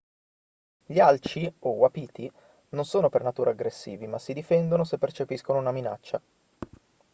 gli alci o wapiti non sono per natura aggressivi ma si difendono se percepiscono una minaccia